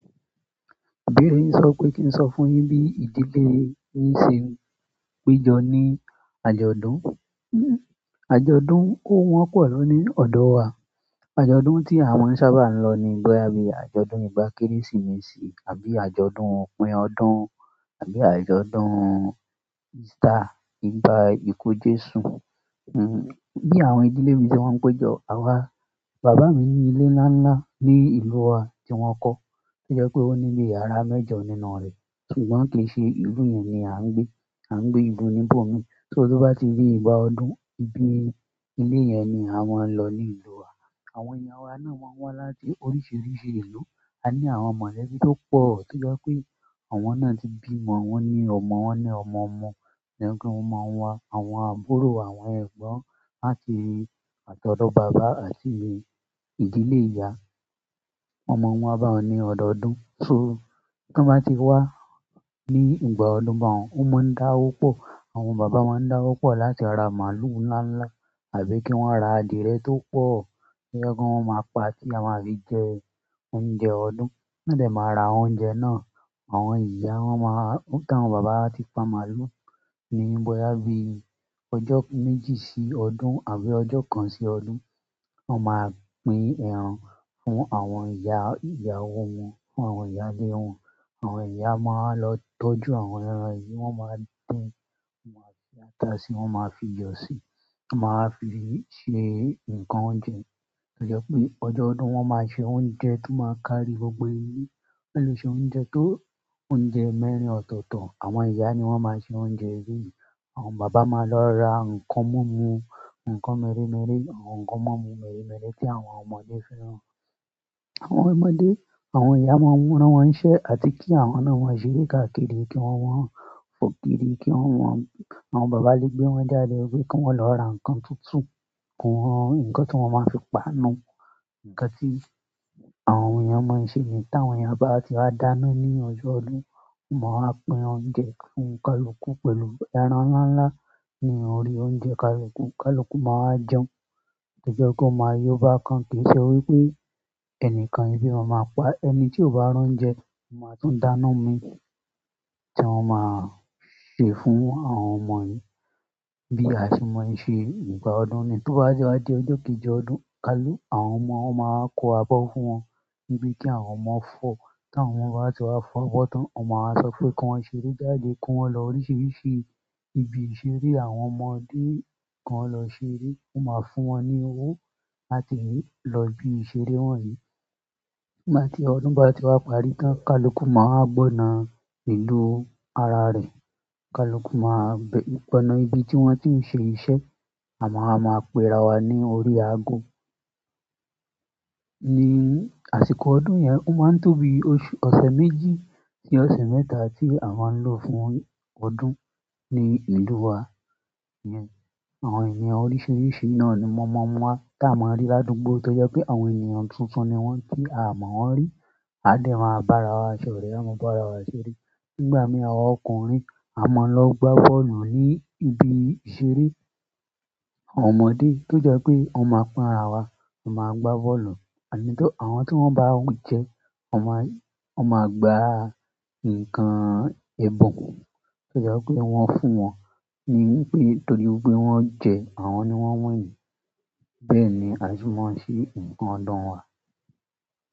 Ìbéèrè yin sọ pé kí n sọ fún yín bí ìdílé yín ṣe ń pejọ ní àjọ̀dún. Àjọ̀dún ò wọ́pọ̀ na ní ọ̀dọ̀ wa. Àjọ̀dún tí àa mọ n sábà ń lọ ni bọ́yá bí i àjọ̀dún ìgbà Kérésìmesì àbí àjọ̀dún òpin ọdún àbí àjọ̀dún Ìstà ìgbà ìku Jésù. Bi àwọn ìdílé mi se mọ́ ń pejọ, àwa-- bàbá mi ní ilé ńlá ńlá ní ìlú wa tí wọ́n kọ́, tó jẹ́ pé ó ní bíi yàrá mẹ́jọ nínú rẹ̀. Ṣùgbọ́n kì í ṣe ìlú yẹn ni à ń gbé. À ń gbé ìlú níbò mii. Só to bá ti di ìgbà ọdún, ibi ilé yẹn ni aa máa ń lọ ní ìlú wa. Àwọn èyàn wa náà máa ń wá láti oríṣiríṣi ìlú. A ní àwọn mọ̀lẹ́bí tó pọ̀, tó jẹ́ pé àwọn náà ti bímọ. Wọ́n ní ọmọ, wọ́n ní ọmọ-ọmọ. To je pe won máa ń wa àwọn àbúrò, àwọn ẹ̀gbọ́n láti atodo bàbá, àti ìdílé ìyá. Won maa n wa ba un ní ọ̀dọ̀ọdún. So, tón bá ti wá ní ìgbà ọdún bá un, wọ́n máa ń dáwó pọ̀. Àwọn bàbá máa ń dáwó pọ̀ láti ra màlúù ńlá ńlá, àbí kí wọ́n ra adiyẹ tó pọ̀, to je pe wọ́n maá pa tí a máa fi jẹ oúnjẹ ọdún. Won de máa ra oúnjẹ náà. Àwọn ìyá, wọ́n máa-- tí àwọn bàbá ba ti pa màlúù, ní bọ́yá bí i ọjọ́ méjì sí ọdún, àbí ọjọ́ kan sí ọdún, wọ́n máa pín ẹran fún àwọn ìyá ìyàwó wọn, fún àwọn ìyá ẹbí wọn. Àwọn ìyá máa wa lọ tọ́jú àwọn ẹran yìí, wọ́n máa dín, wọ́n máa fi ata sí i, wọ́n máa fi iyọ̀ sì, wọ́n máa wa fi í ṣe nǹkan oúnjẹ. To je pé, ọjọ́ ọdún wọ́n máa ṣe oúnjẹ tó máa kárí gbogbo ilé. Wọ́n lè ṣe oúnjẹ tó, oúnjẹ mẹ́rin ọ̀tọ̀ọ̀tọ̀. Àwọn ìyá ni wọ́n máa ṣe oúnjẹ eleyii. Àwọn bàbá máa lọ ra nǹkan múmu, nǹkan méréméré, nǹkan múmu méréméré tí àwọn ọmọdé fẹ́ràn. Àwọn ọmọdé, àwọn ìyá máa n rán wọn nṣẹ́, à ti kí àwọn náà maa ṣeré káàkiri, kí wọ́n mọ́n fò kírí, kí wọ́n mọ́n-- àwọn bàbá lé gbé wọn jáde, pe kí wọ́n lọ ra nǹkan tutu fún wọn, nǹkan tí wọ́n máa fi pàánú, nǹkan tí àwọn èeyàn máa ń ṣe niyen tí àwọn ìyá bá ti wá dáná ní ọjọ́ ọdún. Wọ́n máa wa pín oúnjẹ fún kálukù pẹ̀lú ẹran ńlá ńlá ní orí oúnjẹ kálukù. Kálukù máa wa jẹun, to je wipé ó máa yó bákan. Kì í ṣe wí pé ẹnìkan ebi maa maá pa. Ẹni tí ò bá r'oúnjẹ, ón máa tún dáná mi i. Tí wọ́n máa ṣe fún àwọn ọmọ yìí, bí a ṣe mọ̀ ń ṣe ígbà ọdún niyi. Tó bá ti wá di ọjọ́ kéjì ọdún, kálu, àwọn ọmọ wọ́n máa wa kó abọ́ fún wọn. Níbi tí àwọn ọmọ fọ́, tí àwọn ọmọ bá ti wá fọ́bọ́ tán, won máa wa sọ pé kí wọ́n ṣeré jáde, kí wọ́n lọ oríṣiríṣi ibi ìṣeré. Àwọn ọmọdé ki won lọ ṣeré, wọ́n máa fún wọn ní owó láti lọ ibi ìṣeré wọ́nyìí. Nígbà tí ọdún bá ti wá parí tán, kálukù máa wa gbọ́nà ìlú ara rẹ̀. Kálukù máa b-- gbọ́nà ibi tí wọ́n ti ń ṣe iṣẹ́. À máa wa máa péra wa ní orí aago. Ní àsìkò ọdún yẹn, ó máa ń tó bí i oṣù, ọ̀ṣẹ̀ méjì sí ọ̀ṣẹ̀ mẹ́ta tí a máa ń lò fún ọdún ní ìlú wa. Àwọn èyàn oríṣiríṣi náà ni wón mọ n wa, taa mo ń rí ládùúgbọ̀ tó jẹ́ pé àwọn ènìyàn tuntun ni wọ́n tí aa mo wọ́n rí. Á dẹ̀ máa bara wa ṣoré, à maa bara wa ṣeré. Nígbà mí, àwa ọkùnrin a máa lọ gbá bọ́ọ̀lù ní ibi ìṣeré. Àwọn ọmọdé tó jẹ́ pé wọn máa pín ara wa, a máa gbá bọ́ọ̀lù. Àní tó-- àwọn tí wọ́n ba jẹ, wọ́n máa, wọ́n máa gba nǹkan ẹbun tó jẹ́ wipé wọ́n fún wọn ní pé-- torí wipé wọ́n jẹ, àwọn ni wọ́n winni. Bẹ́ẹ̀ ni á ṣe mọ́ ọ́n ṣe nǹkan ọdún wa.